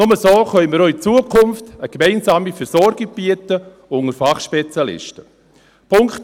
Nur so können wir auch in Zukunft eine gemeinsame Versorgung unter Fachspezialisten bieten.